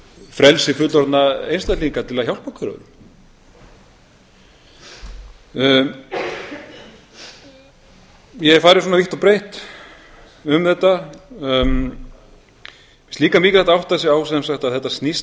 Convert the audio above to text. frelsi fullorðinna einstaklinga til að hjálpa hver öðrum ég hef farið svona vítt og breytt yfir þetta átta sig á að þetta snýst